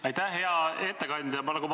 Aitäh!